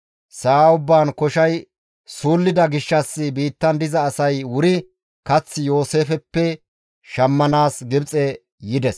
Sa7a ubbaan koshay suullida gishshas biittan diza asay wuri kath Yooseefeppe shammanaas Gibxe yides.